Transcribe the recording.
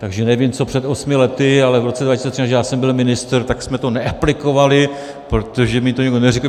Takže nevím, co před osmi lety, ale v roce 2003, než já jsem byl ministr, tak jsme to neaplikovali, protože mi to nikdo neřekl.